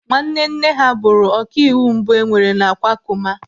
Nwanne nne ha bụrụ ọkàịwụ mbụ enwere n'Akwakụma.